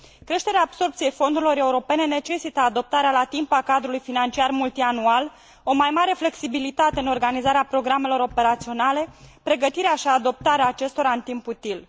Creșterea absorbției fondurilor europene necesită adoptarea la timp a Cadrului financiar multianual, o mai mare flexibilitate în organizarea programelor operaționale, pregătirea și adoptarea acestora în timp util.